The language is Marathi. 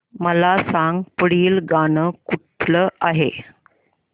मला सांग पुढील गाणं कुठलं आहे